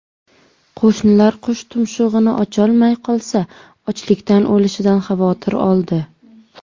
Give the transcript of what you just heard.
Qo‘shnilar qush tumshug‘ini ocholmay qolsa, ochlikdan o‘lishidan xavotir oldi.